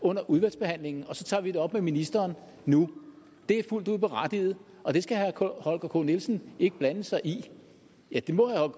under udvalgsbehandlingen og så tager vi det op med ministeren nu det er fuldt ud berettiget og det skal herre holger k nielsen ikke blande sig i ja det må herre